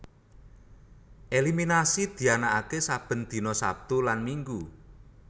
Eliminasi dianaaké saben dina Sabtu lan Minggu